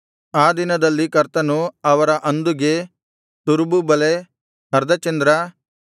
ಆ ದಿನದಲ್ಲಿ ಕರ್ತನು ಅವರ ಅಂದುಗೆ ತುರುಬುಬಲೆ ಅರ್ಧಚಂದ್ರ